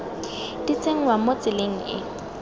di tsenngwa mo tseleng e